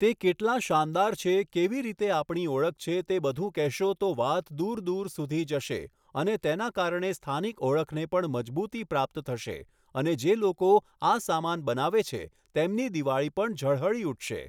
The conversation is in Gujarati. તે કેટલા શાનદાર છે, કેવી રીતે આપણી ઓળખ છે તે બધુ કહેશો તો વાત દૂર દૂર સુધી જશે અને તેના કારણે સ્થાનિક ઓળખને પણ મજબૂતી પ્રાપ્ત થશે અને જે લોકો આ સામાન બનાવે છે તેમની દિવાળી પણ ઝળહળી ઉઠશે.